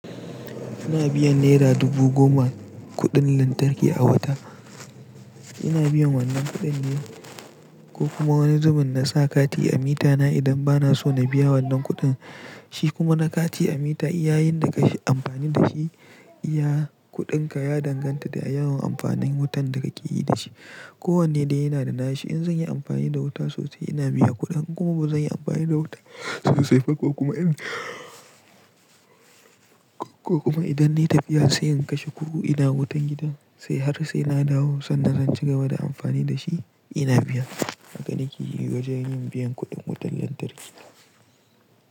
Ina biyan naira dubu goma kuɗin lantarki a wata. Ina biyan wannan kuɗin ne ko kuma wani zubin na sa kati a mitana idan ba na so na biya wannan kuɗin. Shi kuma na kati a mita. Yayin da ka yi amfani da shi, iya kuɗinka ya danganta da yawan amfanin wutan da ka yi da shi. Ko wanne dai yana da nashi. In zan yi amfani da wuta sosai, ina biyan kuɗin. Kuma ba zan yi amfani da wuta sosai ba, ko kuma in, ko kuma idan ne tafiya sai in kashe kugu ina wutan gidan, sai har sai na dawo sannan zan ci gaba da amfani da shi, ina biya. Haka ne ke yi wajen yin biyan kuɗin wutar lantarki.